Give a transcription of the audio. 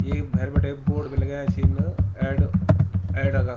येक भैर बिटै बोर्ड बि लगाया छिन एड एडा का।